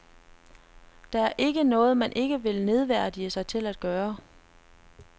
Der er ikke noget, man ikke vil nedværdige sig til at gøre.